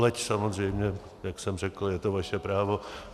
Leč samozřejmě, jak jsem řekl, je to vaše právo.